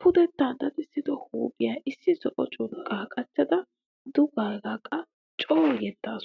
Pudetta dadisso huuphiya issi zo'o curqqan qachchada dugeega qa coo yeddaasu.